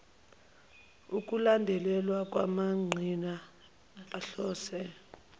ukulandelelwa kwamaqhinga ahlose